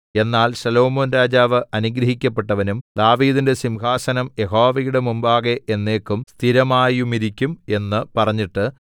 എന്നാൽ ശലോമോൻ രാജാവ് അനുഗ്രഹിക്കപ്പെട്ടവനും ദാവീദിന്റെ സിംഹാസനം യഹോവയുടെ മുമ്പാകെ എന്നേക്കും സ്ഥിരമായുമിരിക്കും എന്ന് പറഞ്ഞിട്ട്